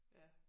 Ja